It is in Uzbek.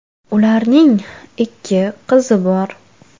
Ularning ikki qizi bor.